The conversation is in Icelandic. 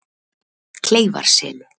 Kleifarseli